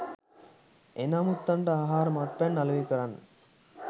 එන අමුත්තන්ට ආහාර මත්පැන් අලෙවි කරන්න.